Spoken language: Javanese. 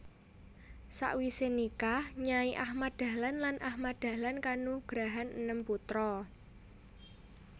Sawise nikah Nyai Ahmad Dahlan lan Ahmad Dahlan kanugrahan enem putra